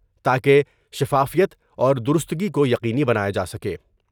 تا کہ شفافیت اور درستگی کو یقینی بنایا جا سکے ۔